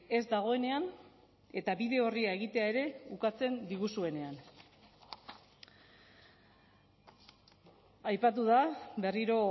ez dagoenean eta bide orria egitea ere ukatzen diguzuenean aipatu da berriro